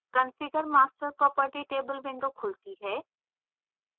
configure master property table window खुलती है